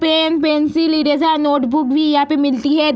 Pen pencil eraser notebook भी यहाँ पे मिलती है।